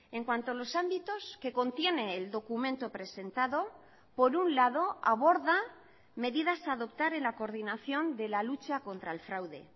en cuanto a los ámbitos que contiene el documento presentado por un lado aborda medidas a adoptar en la coordinación de la lucha contra el fraude